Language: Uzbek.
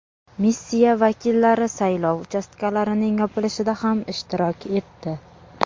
Missiya vakillari saylov uchastkalarining yopilishida ham ishtirok etdi.